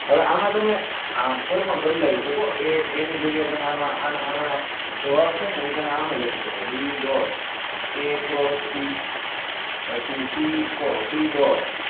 હવે આમા તમને આમ કોઈ પણ બદલાઈ સકો a a ની જગ્યા એ તમારા માં આના આના જવાબ છે ને તમે આમય લખી સકો b dot a cross c પછી c ross c dot